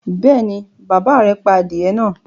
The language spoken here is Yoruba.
Bẹ́ẹ̀ ni, bàbá rẹ̀ pa adìẹ náà.